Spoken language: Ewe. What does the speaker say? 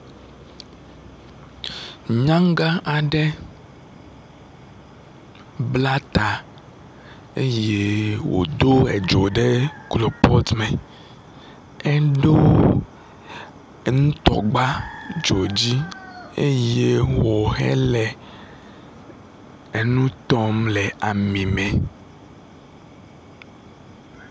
Nyagã aɖe bla ta eye wòdo dzo ɖe kropɔt me, eɖo nutɔgba dzo dzi eye wòhele enu tɔm le ami me.